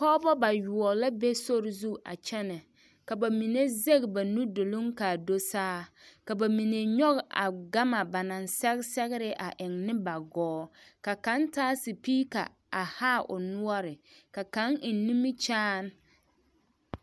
Pɔgebɔ bayoɔ la be sori zu a kyɛnɛ ka bamine zɛge ba nu duluŋ k'a do saa, ka bamine nyɔge a gama ba naŋ sɛge sɛgere a eŋ ne ba gɔɔ ka kaŋ taa sipiika a haa o noɔre ka kaŋ eŋ nimikyaane.